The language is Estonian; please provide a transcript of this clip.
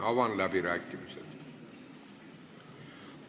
Avan läbirääkimised.